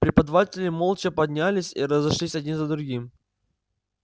преподаватели молча поднялись и разошлись один за другим